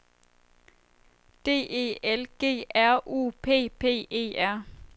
D E L G R U P P E R